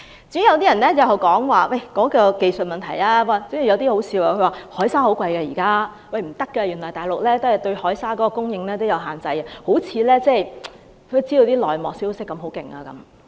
至於技術問題，有些言論很可笑，指海沙很貴，大陸對海沙供應有限制等，好像知道很多內幕消息。